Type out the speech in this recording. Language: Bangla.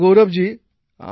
আচ্ছা গৌরব জি